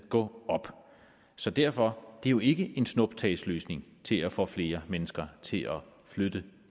gå op så derfor er det jo ikke en snuptagsløsning til at få flere mennesker til at flytte